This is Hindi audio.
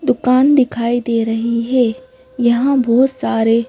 दुकान दिखाई दे रही है। यहां बहुत सारे--